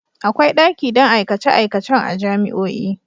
Akwai daki don aikace-aikacen a jami'o'i.